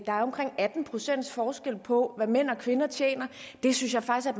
er omkring atten procent forskel på hvad mænd og kvinder tjener det synes jeg faktisk